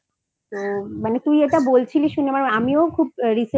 তো মানে তুই এটা বলছিলি শুনে আমিও খুব Recently একটা